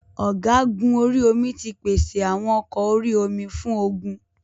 Ọ̀gúgun orí omi ti pèsè àwọn ọkọ orí omi fún ogun.